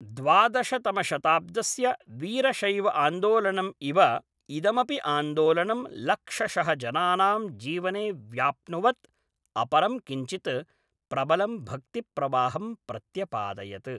द्वादशतमशताब्दस्य वीरशैवआन्दोलनम् इव इदमपि आन्दोलनं लक्षशः जनानाम् जीवने व्याप्नुवत् अपरं किञ्चित् प्रबलं भक्तिप्रवाहं प्रत्यपादयत्।